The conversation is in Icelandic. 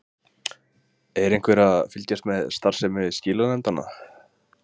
Þorbjörn Þórðarson: Er einhver að fylgjast með starfsemi skilanefndanna?